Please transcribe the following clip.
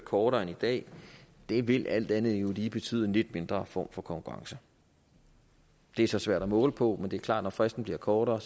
kortere end i dag det vil alt andet lige jo betyde en lidt mindre form for konkurrence det er så svært at måle på men det er klart at når fristen bliver kortere